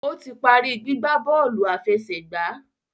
O tí parí gbígbà bóòlù àfẹsẹ̀gbá